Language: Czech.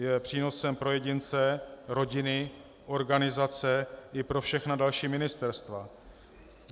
Je přínosem pro jedince, rodiny, organizace i pro všechna další ministerstva.